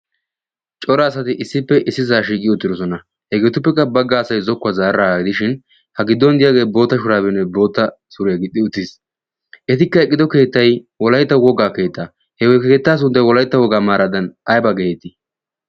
cora asati issippe issi saa shiiqiyo uttidosona hegeetuppekka bagga asay zokkuwaa zaaragidishin ha giddon diyaagee boota shuraabinne bootta suriyaa gixxi uttiis. etikka eqqido keettay wolayttawu woggaa keettaa sunttay wolaytta woggaa maaradan ayba geetii.